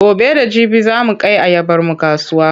Gobe da jibi za mu kai ayabarmu kasuwa.